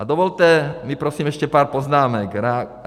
A dovolte mi prosím ještě pár poznámek.